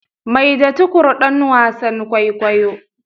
Maida Tukur dan wasan kwaikwayo.